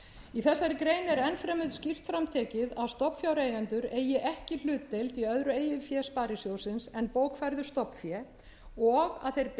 enn fremur skýrt fram tekið að stofnfjáreigendur eigi ekki hlutdeild í öðru eigin fé sparisjóðsins en bókfærðu stofnfé og að þeir beri